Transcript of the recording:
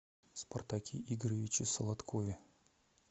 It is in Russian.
спартаке игоревиче солодкове